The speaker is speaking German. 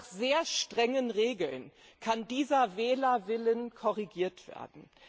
Und nur nach sehr strengen Regeln kann dieser Wählerwille korrigiert werden.